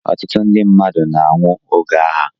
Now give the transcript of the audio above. Ọtụtụ ndị mmadụ na-anwụ oge agha.